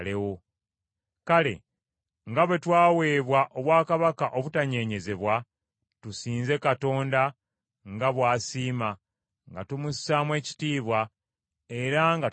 Kale, nga bwe twaweebwa obwakabaka obutanyeenyezebwa, tusinze Katonda nga bw’asiima nga tumussaamu ekitiibwa era nga tumutya.